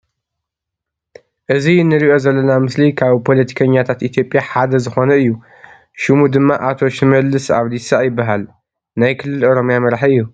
እዚ እንርእዬ ዘለና ምስሊ ካብ ፖለቲከኛታት ኢ/ያ ሓደ ዝኮነ እዪ ። ሽሙ ድማ ኣ/ቶ ሽመልስ ኣብዲሳ ይበሃል ። ናይ ክልል ኦሮምያ መራሒ እዬ ።